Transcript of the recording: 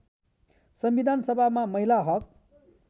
संविधानसभामा महिला हक